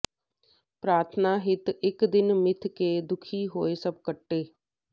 ਪ੍ਰਾਰਥਨਾ ਹਿਤ ਇਕ ਦਿਨ ਮਿਥਕੇ ਦੁਖੀ ਹੋਏ ਸਭ ਕੱਠੇ